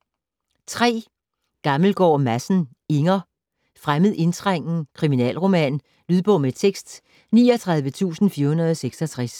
Gammelgaard Madsen, Inger: Fremmed indtrængen: kriminalroman Lydbog med tekst 39466